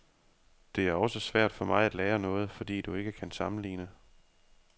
Det er også svært for mig at lære noget, fordi du ikke kan sammenligne.